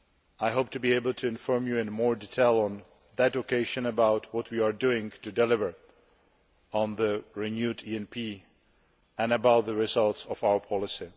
I hope to be able to inform you in more detail on that occasion about what we are doing to deliver on the renewed ENP and the results of our policy.